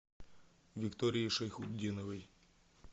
виктории шайхутдиновой